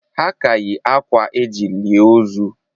Ha ka yi akwa eji lie ozu